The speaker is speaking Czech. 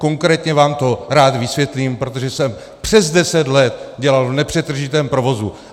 Konkrétně vám to rád vysvětlím, protože jsem přes deset let dělal v nepřetržitém provozu.